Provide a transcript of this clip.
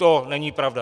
To není pravda.